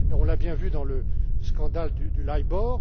majeur. On l'a bien vu dans le scandale du